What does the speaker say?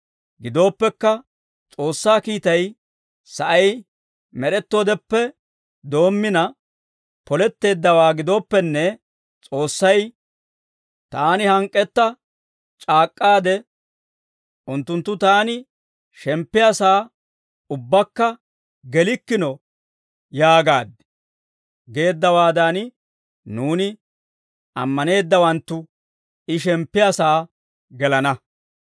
Gidooppekka, S'oossaa kiitay sa'ay med'ettoodeppe doommina poletteeddawaa gidooppenne, S'oossay, «Taani hank'k'etta c'aak'k'aade, ‹Unttunttu taani shemppiyaa saa ubbaakka gelikkino› yaagaad» geeddawaadan, nuuni ammaneeddawanttu I shemppiyaa sa'aa gelana.